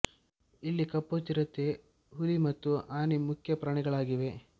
ಇಲ್ಲಿ ಕಪ್ಪು ಚಿರತೆ ಹುಲಿ ಮತ್ತು ಆನೆ ಮುಖ್ಯ ಪ್ರಾಣಿಗಳಾಗಿವೆ